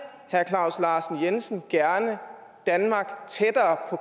herre claus larsen jensen gerne danmark tættere